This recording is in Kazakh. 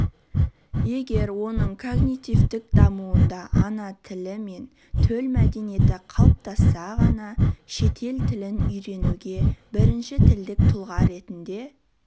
егер оның когнитивтік дамуында ана тілі мен төл мәдениеті қалыптасса ғана шетел тілін үйренуге бірінші тілдік тұлға ретінде